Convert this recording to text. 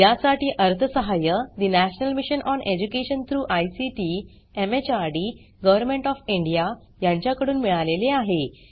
यासाठी अर्थसहाय्य national mission on education through ICT MHRD government of India यांच्याकडून मिळालेले आहे